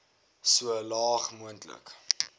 so laag moontlik